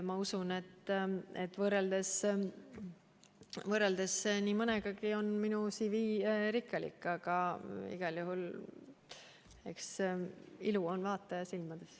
Ma usun, et võrreldes nii mõnegi teisega on minu CV rikkalik, aga eks ilu ole vaataja silmades.